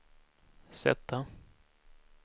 sätta